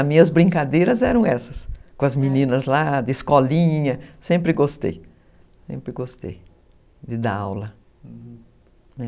As minhas brincadeiras eram essas, com as meninas lá de escolinha, sempre gostei, sempre gostei de dar aula, né?